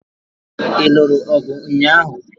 Ị lụrụ ọgụ ụnyaahụ?